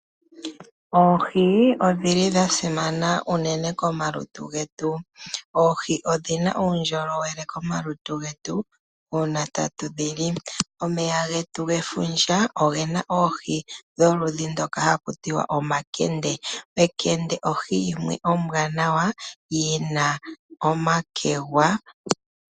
Oohi odhili dha simana unene komalutu getu. Oohi odhina uundjolowele komalutu getu, uuna tatu dhi li. Omeya getu gefundja ogena oohi dholudhi ndhoka haku tiwa omakende. Ekende ohi yimwe ombwaanawa, yina omakegwa.